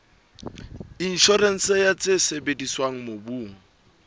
inshorense ya tse sebediswang mobung